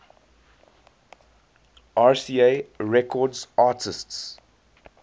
rca records artists